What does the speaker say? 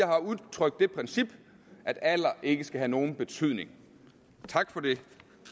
har udtrykt det princip at alder ikke skal have nogen betydning tak for det